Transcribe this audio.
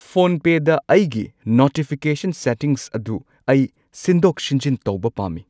ꯐꯣꯟꯄꯦ ꯗ ꯑꯩꯒꯤ notification settings ꯑꯗꯨ ꯑꯩ ꯁꯤꯟꯗꯣꯛ ꯁꯤꯟꯖꯤꯟ ꯇꯧꯕ ꯄꯥꯝꯃꯤ꯫